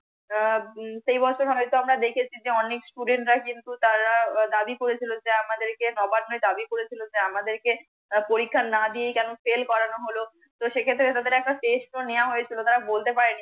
উম সেই বছর হোনেতে আমরা দেখেছি যে অনেক STUDENT রা কিন্তু তারা দাবি করেছিল যে আমাদের